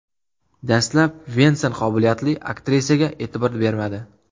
Dastlab Vensan qobiliyatli aktrisaga e’tibor bermadi.